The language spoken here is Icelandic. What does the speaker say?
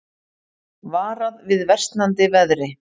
Varað við versnandi veðri